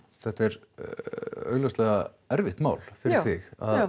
þetta er augljóslega erfitt mál fyrir þig